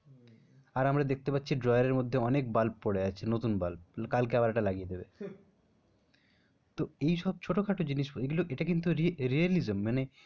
আর আমরা দেখতে পাচ্ছি drawer এর মধ্যে অনেক বাল্ব পরে আছে নতুন বাল্ব কালকে আবার একটা লাগিয়ে দেবে। তো এইসব ছোটো খাটো জিনিস এগুলো এটা কিন্তু realism মানে,